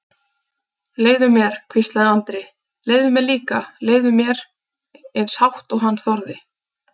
Leyfðu mér, hvíslaði Andri, leyfðu mér líka, leyfðu mér, eins hátt og hann þorði.